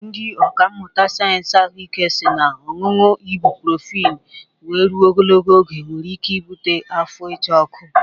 Ndị ọkà mmụta sayensị ahụike si na ọñụñụ ibụprofin wee rụo ogologo oge nwere ike ịbụte afọ ịcha ọkụ